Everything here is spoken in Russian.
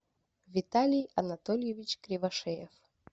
виталий анатольевич кривошеев